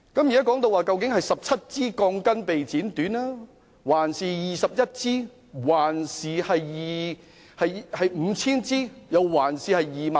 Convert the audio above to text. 現時究竟是17支、21支、5,000 支還是 25,000 支鋼筋被剪短呢？